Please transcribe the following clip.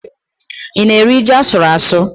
Ị na-eri ji asụrụ asụ?